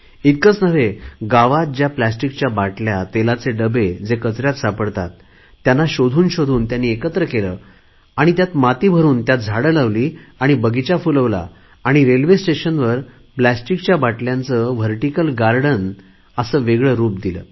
इतकेच नव्हे गावात ज्या प्लॅस्टीकच्या बाटल्या तेलाचे डबे जे कचऱ्यात सापडतात त्यांना शोधूनशोधून एकत्र केले आणि त्यात माती भरुन त्यात झाडे लावली आणि बगीचा फुलवला आणि रेल्वे स्टेशनवर प्लॅस्टीकच्या बाटल्यांचे व्हर्टीकल गार्डन बनवून त्याला वेगळे रुप दिले